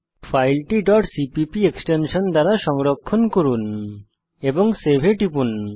ফাইলটি cpp extension দিয়ে সংরক্ষণ করুন এবং সেভ এ টিপুন